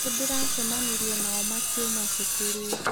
Nĩndĩracemanirie nao makiuma cukuru.